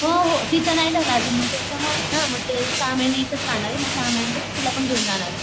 हो हो तीच नाही झालं अजून मग त्याच्यामुळंच ना मग ते सहा महिने इथंच राहणारे मग सहा महिन्यानंतर तिला पण घेऊन जाणारे.